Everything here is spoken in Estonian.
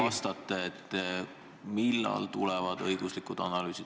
... vastate, et millal esitatakse selle eelnõu kohta õiguslikud analüüsid.